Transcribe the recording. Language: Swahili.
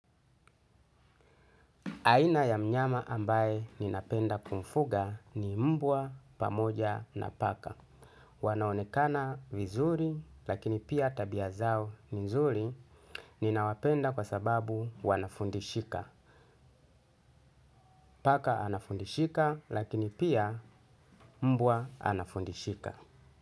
Aina ya mnyama ambaye napenda kumfuga ni umbwa pamoja na paka. Wanaonekana vizuri lakini pia tabia zao ni nzuri ninawapenda kwa sababu wanafundishika. Paka anafundishika lakini pia mbwa anafundishika.